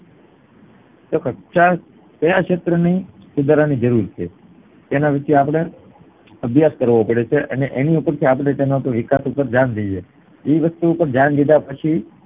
ક્યાં શેત્ર સુધારાની જરૂર છે તેના વિષે અપડે અભ્યાશ કરવો પડે છે અને એની ઉપરથી આપડે વિકાસ ઉપર ધ્યાન દઈએ છીએ